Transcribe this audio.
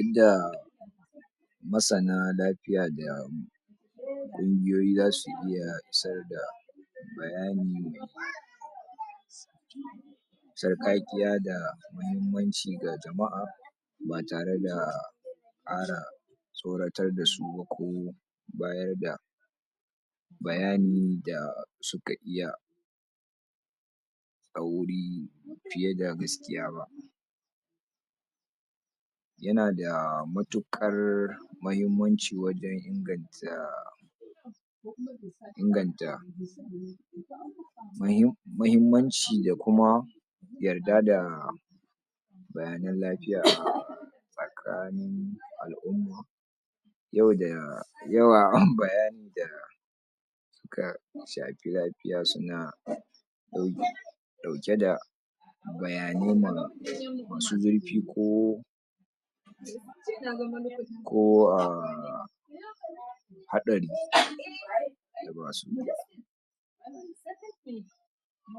Inda masana lafiya da ƙungiyoyi zasu iya isar da bayani a sarƙaƙiya da muhimmanci ga jama'a ba tare da ƙara tsoratar da su ba ko bayar da bayani da suka iya tsauri fiye da gaskiya ba yana da matuƙar mahimmanci wajen inganta inganta mahim mahimmanci da kuma yarda da bayanan lafiya a tsakanin al'umma yau da yawa bayani da ka, shafi lafiya suna ɗau, ɗauke da bayanai ma, masu zurfi ko ko aah haɗari